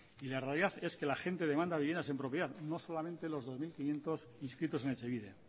y la realidad es que la gente demanda viviendas en propiedad no solamente los dos mil quinientos inscritos en etxebide